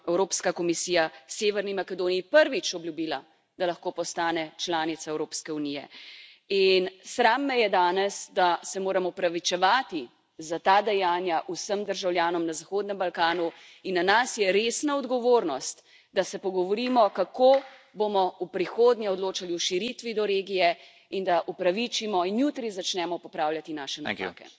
Evropska komisija Severni Makedoniji prvič obljubila, da lahko postane članica Evropske unije in sram me je danes, da se moram opravičevati za ta dejanja vsem državljanom na Zahodnem Balkanu in na nas je resna odgovornost, da se pogovorimo, kako bomo v prihodnje odločali o širitvi do regije, in da opravičimo in jutri začnemo popravljati naše napake.